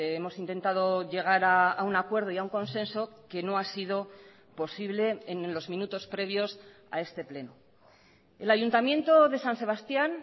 hemos intentado llegar a un acuerdo y a un consenso que no ha sido posible en los minutos previos a este pleno el ayuntamiento de san sebastián